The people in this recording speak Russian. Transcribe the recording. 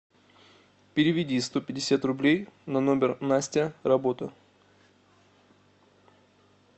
переведи сто пятьдесят рублей на номер настя работа